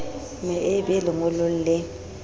me e be lengolong le